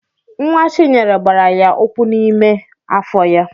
Nwa Chinyere gbara ya ụkwụ n'ime afọ ya.